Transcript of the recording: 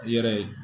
I yɛrɛ ye